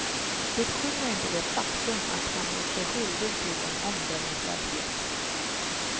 Det skymmer inte det faktum att han gjort sig skyldig till en omdömeslöshet.